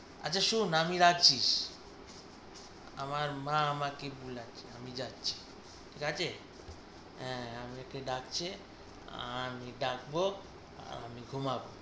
আচ্ছা শোন আমি রাখছি। আমার মা আমাকে বুলাচ্ছে আমি যাচ্ছি ঠিক আছে আঁ আমাকে ডাকছে আমি ডাকব আমি ঘুমাবো।